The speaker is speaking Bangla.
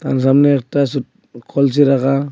সামনে একটা সোট কলসি রাখা।